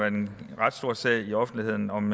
en ret stor sag i offentligheden om